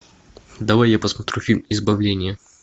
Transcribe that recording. давай я посмотрю фильм избавление